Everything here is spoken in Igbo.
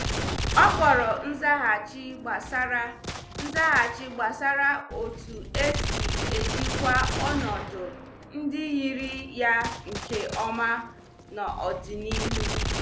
O kpọrọ nzaghachi gbasara nzaghachi gbasara otu esi ejikwa ọnọdụ ndị yiri ya nke ọma n'ọdịnihu.